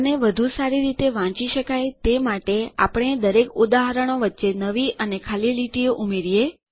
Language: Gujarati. અને વધુ સારી રીતે વાંચી શકાય તે માટે આપણા દરેક ઉદાહરણો વચ્ચે નવી અને ખાલી લીટીઓ ઉમેરીએ